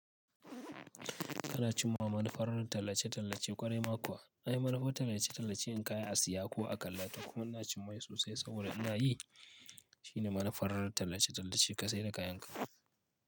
Ana cimawa manufar tallace-tallace kwarai ma kuwa. Ai manufar tallace-tallace yin kaya a siya ko a kalla toh kuma ina cimmai sosai saboda ina yi. Shine manufar tallace-tallace ka sai da kayanka.